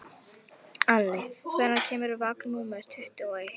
Ali, hvenær kemur vagn númer tuttugu og eitt?